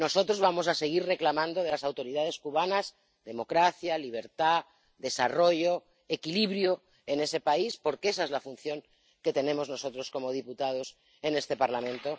Nosotros vamos a seguir reclamando de las autoridades cubanas democracia, libertad, desarrollo y equilibrio en el país, porque esa es la función que tenemos nosotros como diputados en este Parlamento.